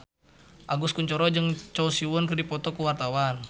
Agus Kuncoro jeung Choi Siwon keur dipoto ku wartawan